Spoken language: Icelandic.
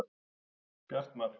Bjartmar